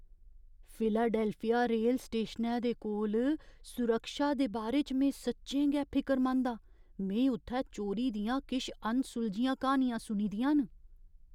Philadelphia rail स्टेशनै दे कोल सुरक्षा दे बारे च में सच्चें गै फिकरमंद आं, में उत्थै चोरी दियां किश अनसुलझियां क्हानियां सुनी दियां न।